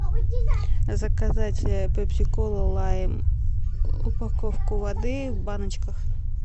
заказать пепси колу лайм упаковку воды в баночках